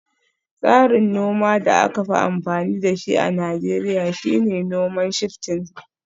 Tsarin noma da aka fi amfani da shi a Najeriya shine noman Shifting